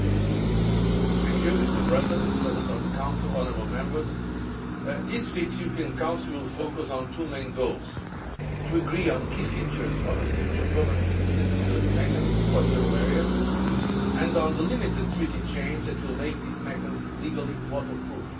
Mr President, President of the Council, honourable Members, this week's European Council will focus on two main goals to agree on the key features of a future permanent European Stability Mechanism for the euro area and on the limited Treaty change that will make this mechanism legally waterproof.